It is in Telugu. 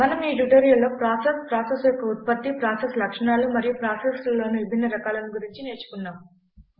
మనం ఈ ట్యుటోరియల్లో ప్రాసెస్ ప్రాసెస్ యొక్క ఉత్పత్తి ప్రాసెస్ లక్షణాలు మరియు ప్రాసెస్లలోని విభిన్న రకాలను గురించి నేర్చుకున్నాం